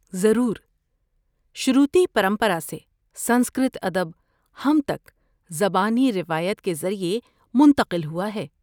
ضرور! شروتی پرمپرا سے سنسکرت ادب ہم تک زبانی روایت کے ذریعے منتقل ہوا ہے۔